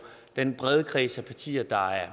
den brede kreds af partier der er